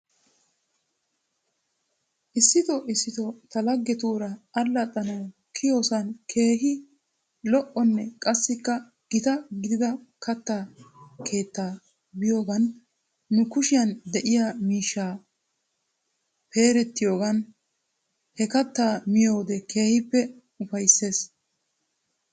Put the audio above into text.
Issito issito ta laggetuura allaxxanaw kiyidosan keehi al''onne qassika gita gidida katta keettaa biyoogan nu kushiyan de'iyaa miish peeretiyoogan he kattaa miyoode keehippe ufaysses.